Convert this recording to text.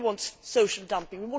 Nobody wants social dumping.